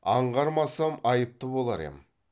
аңғармасам айыпты болар ем